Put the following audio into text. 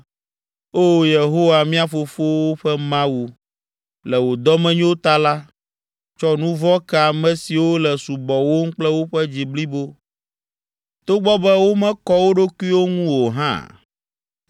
“Oo Yehowa, mía fofowo ƒe Mawu, le wò dɔmenyo ta la, tsɔ nu vɔ̃ ke ame siwo le subɔwòm kple woƒe dzi blibo togbɔ be womekɔ wo ɖokuiwo ŋu o hã.”